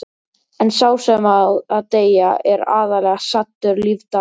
En sá sem á að deyja er aðallega saddur lífdaga.